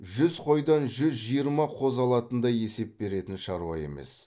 жүз қойдан жүз жиырма қозы алатындай есеп беретін шаруа емес